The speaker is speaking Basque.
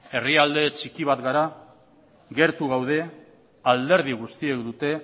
herrialde txiki bat gara gertu daude alderdi guztiek dute